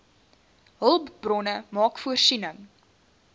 hulpbronne maak voorsiening